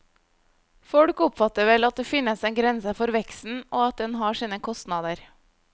Folk oppfatter vel at det finnes en grense for veksten og at den har sine kostnader.